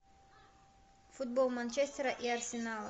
футбол манчестера и арсенала